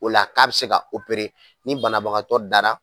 O la k'a bɛ se ka , ni banabagatɔ dara,